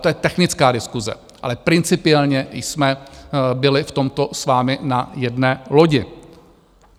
To je technická diskuse, ale principiálně jsme byli v tomto s vámi na jedné lodi.